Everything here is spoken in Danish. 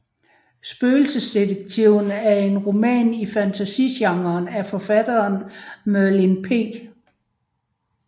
Spøgelsesdetektiven er en roman i fantasygenren af forfatteren Merlin P